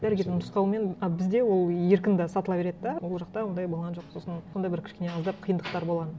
дәрігердің нұсқауымен а бізде ол еркін де сатыла береді де ол жақта ондай болған жоқ сосын сондай бір кішкене аздап қиындықтар болған